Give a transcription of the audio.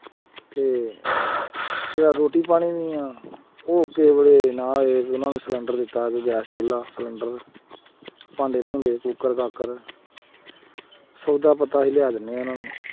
ਤੇ ਜਾਂ ਰੋਟੀ ਪਾਣੀ ਉਹ ਕਿਸੇ ਵੇਲੇ ਉਹਨਾਂ ਨੂੰ ਸਿਲੈਂਡਰ ਦਿੱਤਾ ਗੈਸ ਚੁੱਲਾ ਸਿਲੈਂਡਰ ਭਾਂਡੇ-ਭੂੰਡੇ, ਕੂਕਰ-ਕਾਕਰ ਸੌਦਾ ਪੱਤਾ ਅਸੀਂ ਲਿਆ ਦਿੰਦੇ ਹਾਂ ਉਹਨਾਂ ਨੂੰ।